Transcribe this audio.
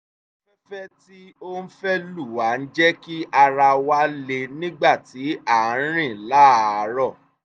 afẹ́fẹ́ tí ó ń fẹ́ lù wá ń jẹ́ kí ara wa le nígbà tí a ń rìn láàárọ̀